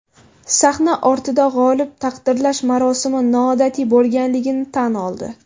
Sahna ortida g‘oliba taqdirlash marosimi noodatiy bo‘lganligini tan oldi.